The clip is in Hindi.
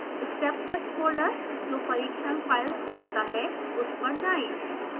steptest फोल्डर जो परीक्षण फाइल्स रखता है उस पर जाएँ